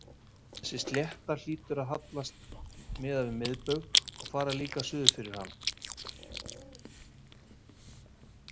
Þessi slétta hlýtur því að hallast miðað við miðbaug og fara líka suður fyrir hann.